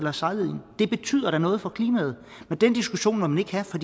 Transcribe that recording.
er sejlet ind det betyder da noget for klimaet men den diskussion må man ikke have for